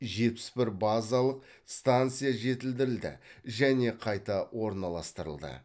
жетпіс бір базалық станция жетілдірілді және қайта орналастырылды